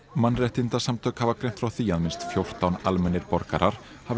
mannréttindasamtök hafa greint frá því að minnst fjórtán almennir borgarar hafi